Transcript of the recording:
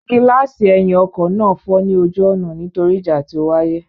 Gíláàsì ẹ̀yìn ọkọ náà fọ́ ní ojú ọ̀nà nítorí ìjà tí ó wáyé.